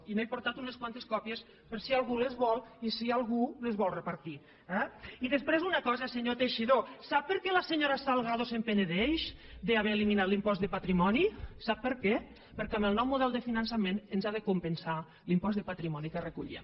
i n’he portat unes quantes còpies per si algú les vol i si algú les vol repartir eh i després una cosa senyor teixidó sap per què la senyora salgado se’n penedeix d’haver eliminat l’impost de patrimoni sap per què perquè amb el nou model de finançament ens ha de compensar l’impost de patrimoni que recollíem